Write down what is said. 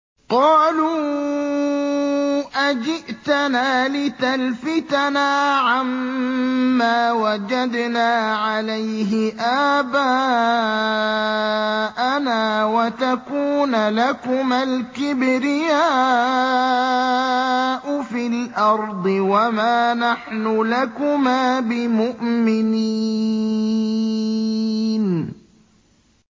قَالُوا أَجِئْتَنَا لِتَلْفِتَنَا عَمَّا وَجَدْنَا عَلَيْهِ آبَاءَنَا وَتَكُونَ لَكُمَا الْكِبْرِيَاءُ فِي الْأَرْضِ وَمَا نَحْنُ لَكُمَا بِمُؤْمِنِينَ